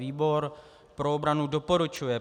Výbor pro obranu doporučuje